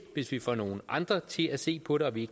hvis vi får nogle andre til at se på det og vi